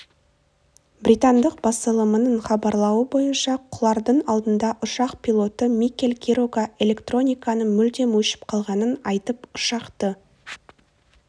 британдық басылымының хабарлауы бойынша құлардың алдында ұшақ пилоты микель кирога электрониканың мүлдем өшіп қалғанын айтып ұшақты